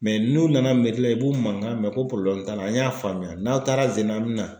n'u nana la i b'u mankan mɛn ko t'a la an y'a faamuya n'aw taara zen in na an bɛ na.